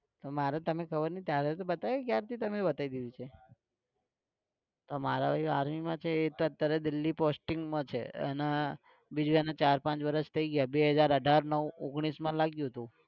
તો મારે તમને ખબર નઇ બતાઈ દીધી છે. તો મારો ભાઈ army માં છે એ તો અત્યારે દિલ્હી posting માં છે એને બીજું એને ચાર પાંચ વર્ષ થઇ ગયા બે હજાર અઢાર નવ ઓગણીસમાં લાગ્યું તું